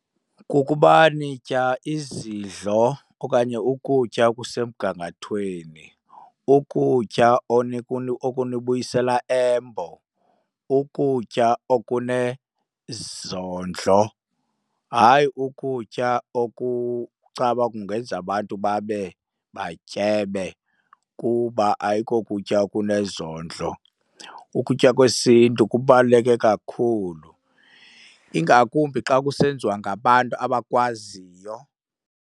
Kukuba nitya izidlo okanye ukutya okusemgangathweni, ukutya okunibuyisela eMbo, ukutya okunezondlo. Hayi ukutya okucaba kungenza abantu babe batyebe kuba ayikokutya okunezondlo. Ukutya kwesiNtu kubaluleke kakhulu, ingakumbi xa kusenziwa ngabantu abakwaziyo.